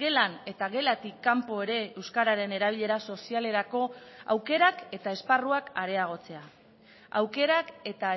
gelan eta gelatik kanpo ere euskararen erabilera sozialerako aukerak eta esparruak areagotzea aukerak eta